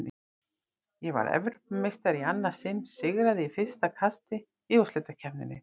Ég varð Evrópumeistari í annað sinn, sigraði í fyrsta kasti í úrslitakeppninni.